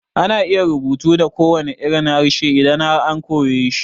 Ana iya rubutu da kowanne irin harshe idan har an koyeshi